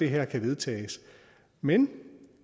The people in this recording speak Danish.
her kan vedtages men